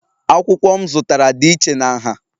Akwụkwọ m zụtara dị iche na nha